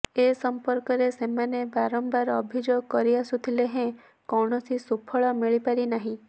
ଏ ସଂପର୍କରେ ସେମାନେ ବାରମ୍ବାର ଅଭିଯୋଗ କରିଆସୁଥିଲେ ହେଁ କୌଣସି ସୁଫଳ ମିଳିପାରିନାହିଁ